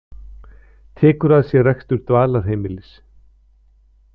Tekur að sér rekstur dvalarheimilis